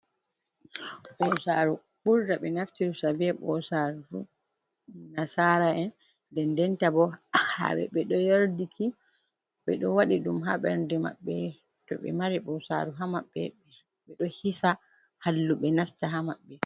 Ɓosaru, ɓurda be naftirta be ɓosaruru fu nasara'en dendenta bo hamɓeb ɓe do yardiki be do waɗi ɗum ha ɓerde maɓɓe too ɓe mari bosaru ha maɓɓe ɓe do hisa halluɓe nasta ha maɓɓe.